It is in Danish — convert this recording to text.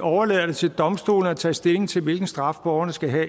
overlader det til domstolene at tage stilling til hvilken straf borgerne skal have